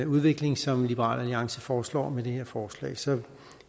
udvikling som liberal alliance foreslår med det her forslag så